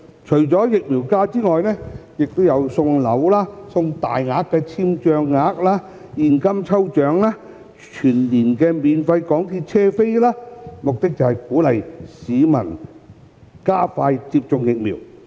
除了疫苗假期外，亦有送樓、大額簽帳額、現金抽獎及全年免費港鐵車票等，目的是鼓勵市民加快接種疫苗。